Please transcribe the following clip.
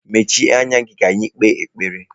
Mechie anya gị ka anyị kpee ekpere!